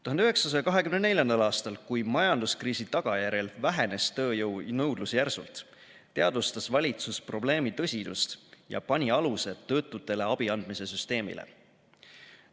1924. aastal, kui majanduskriisi tagajärjel vähenes tööjõu nõudlus järsult, teadvustas valitsus probleemi tõsidust ja pani aluse töötutele abiandmise süsteemile.